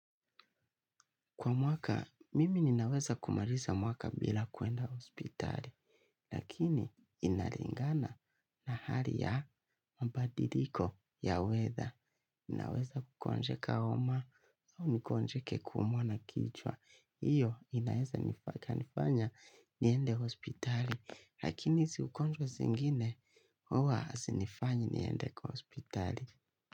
Kwa mwaka, mimi ninaweza kumaliza mwaka bila kuenda hospitali. Lakini, inalingana na hali ya mabadiriko ya weather. Ninaweza kugonjeka homa au nigonjeke kuumwa na kichwa. Iyo, inaweza nifanya niende hospitali. Lakini, hiz ugonjwa zingine, huwa hasinifanyi niende kwa hospitali.